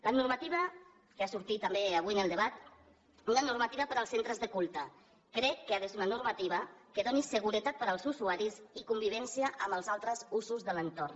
la normativa que ha sortit també avui en el debat una normativa per als centres de culte crec que ha de ser una normativa que doni seguretat per als usuaris i convivència amb els altres usos de l’entorn